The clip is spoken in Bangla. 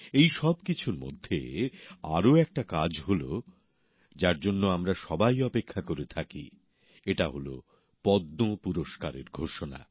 এই সব কিছুর মধ্যে আরও একটা কাজ হল যার জন্য আমরা সবাই অপেক্ষা করে থাকি এটা হল পদ্ম সম্মানের ঘোষণা